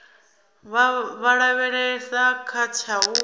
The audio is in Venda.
vha lavhelesa kha tsha u